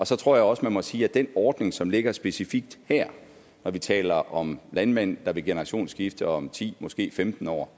så tror jeg også man må sige om den ordning som ligger specifikt her at når vi taler om landmænd der vil generationsskifte om ti måske femten år